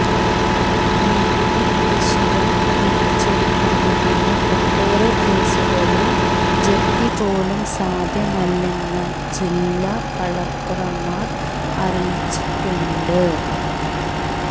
നികുതി കുടിശ്ശിക പിരിച്ചെടുക്കുന്നതിന് ഒട്ടേറെ കേസുകളിൽ ജപ്തിപോലും സാധ്യമല്ലെന്ന് ജില്ലാ കളക്ടർമാർ അറിയിച്ചിട്ടുണ്ട്